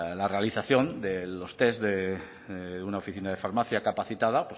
la realización de los test de una oficina de farmacia capacitada